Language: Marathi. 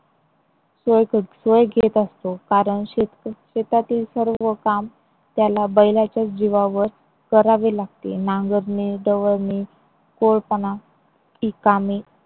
सोय सोय घेत असतो कारण शेतकरी शेतातील सर्व काम त्याला बैलाच्याच जीवावर करावे लागते. नांगरणी